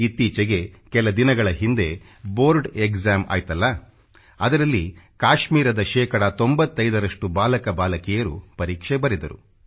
ಇತ್ತೀಚೆಗೆ ಕೆಲ ದಿನಗಳ ಹಿಂದೆಬೋರ್ಡ್ ಎಕ್ಸಾಮ್ ಆಯ್ತಲ್ಲ ಅದರಲ್ಲಿ ಕಾಶ್ಮೀರದ ಶೇಕಡಾ 95ರಷ್ಟು ಬಾಲಕ ಬಾಲಕಿಯರು ಪರೀಕ್ಷೆ ಬರೆದರು